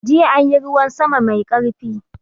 Jiya anyi ruwan sama mai karfi.